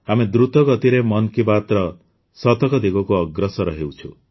ଆମେ ଦୃତ ଗତିରେ ମନ୍ କି ବାତ୍ର ଶତକ ଦିଗକୁ ଅଗ୍ରସର ହେଉଛୁ